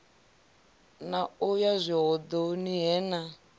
na u yazwihoḓoni he na